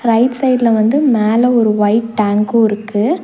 Right சைட்ல வந்து மேல ஒரு ஒயிட் டேங்க்கூருக்கு .